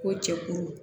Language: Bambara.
Ko cɛkuru